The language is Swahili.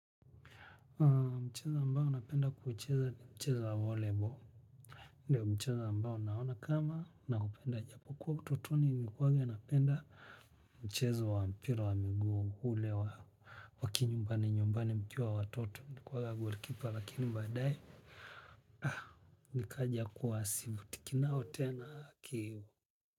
Mchezo ambao napenda kuicheza ni mchezo wa volleyball. Ndio mchezo ambao naona kama naupenda japo. Kuwa utotoni nilikuwaga napenda mchezo wa mpira wa miguu ule wa wakinyumbani nyumbani mkiwa watoto nili kuwaga goalkeeper lakini baade nikaja kuwa sivutiki nao tena ki.